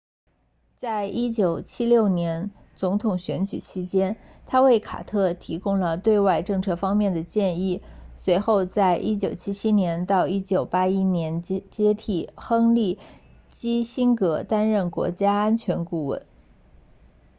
在1976年总统选举期间他为卡特提供了对外政策方面的建议随后在1977到1981年接替亨利基辛格担任国家安全顾问 nsa